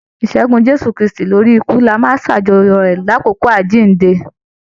Ìṣẹgun Jésù kristi lórí ikú ní a máa n s'ajọ̀yọ rẹ l'akoko Àjínde.